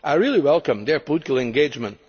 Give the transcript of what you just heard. faster. I really welcome their political engagement.